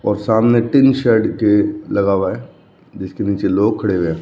और सामने tin shed के लगा हुआ है जिसके नीचे लोग खड़े हुए--